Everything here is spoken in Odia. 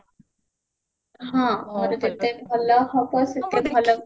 ହଁ ମୋର କେତେ ଭଲ photo ସେଥିରେ